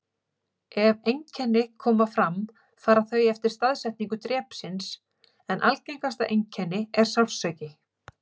Ef einkenni koma fram fara þau eftir staðsetningu drepsins, en algengasta einkenni er sársauki.